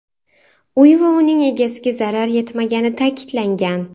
Uy va uning egasiga zarar yetmagani ta’kidlangan.